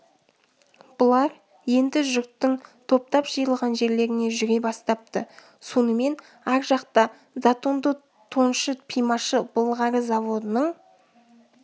бұлар енді жұрттың топтап жиылған жерлеріне жүре бастапты сонымен ар жақта затонды тоншы пимашы былғары заводының